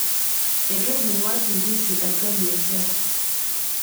Eitu ejing' wakimbisi atua biashara